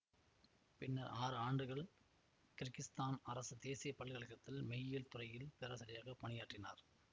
பின்னர் ஆறு ஆண்டுகள் கிர்கிஸ்தான் அரசு தேசிய பல்கலை கழகத்தில் மெய்யியல் துறை பேராசிரியராக பணியாற்றினார்